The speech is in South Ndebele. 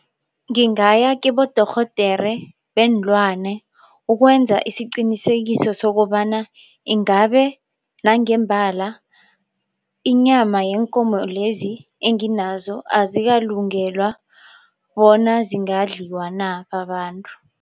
Ngingaya kibodorhodere beenlwane ukwenza isiqinisekiso sokobana ingabe nangembala inyama yeenkomo lezi enginazo azikalungelwa bona zingadliwa na babantu.